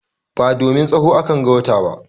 Ba domin tsaho a kan ga wata ba.